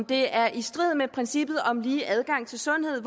det er i strid med princippet om lige adgang til sundhed